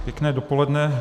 Pěkné dopoledne.